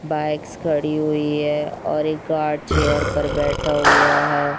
Bikes खड़ी हुई है और एक गार्ड चेअर पर बैठा हुआ हैं।